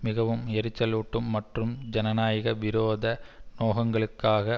மிகவும் எரிச்சலூட்டும் மற்றும் ஜனநாயக விரோத நோகங்களுக்காக